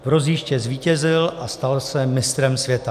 V rozjížďce zvítězil a stal se mistrem světa.